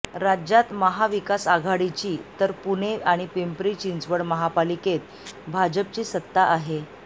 राज्यात महाविकासआघाडीची तर पुणे आणि पिंपरी चिंचवड महापालिकेत भाजपची सत्ता आहे